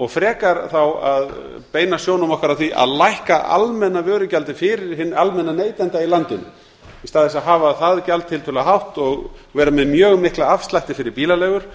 og frekar þá að beina sjónum okkar að því að lækka almenna vörugjaldið fyrir hinn almenna neytanda í landinu í stað þess að hafa það gjald tiltölulega hátt og vera með mjög mikla afslætti fyrir bílaleigur